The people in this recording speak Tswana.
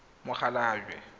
mokgalajwe